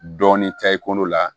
Dɔɔnin ta i kolo la